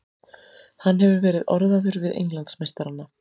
Hann hefur verið orðaður við Englandsmeistarana.